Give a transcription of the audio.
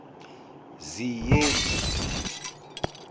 ziyeli